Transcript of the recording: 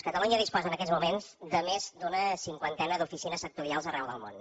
catalunya disposa en aquests moments de més d’una cinquantena d’oficines sectorials arreu del món